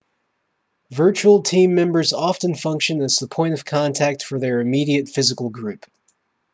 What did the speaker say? virtual team members often function as the point of contact for their immediate physical group